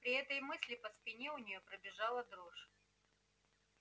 при этой мысли по спине у нее пробежала дрожь